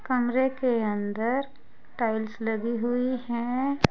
कमरे के अंदर टाइल्स लगी हुई हैं।